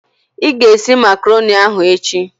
Ị ga-esi Makroni ahụ echi!